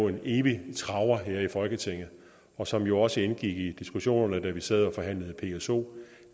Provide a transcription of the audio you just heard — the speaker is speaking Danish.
en evig traver her i folketinget og som jo også indgik i diskussionerne da vi sad og forhandlede pso